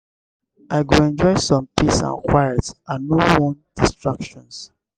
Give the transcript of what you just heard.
i go enjoy some peace and quiet i no wan distractions.